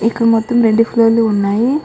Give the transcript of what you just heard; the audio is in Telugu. ఇక్కడ మొత్తము రెండు ఫ్లోర్లు ఉన్నాయి --